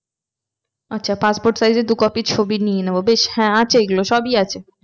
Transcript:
আচ্ছা passport size এর দু copy ছবি নিয়ে নেবো বেশ হ্যাঁ আছে এগুলো সবই আছে।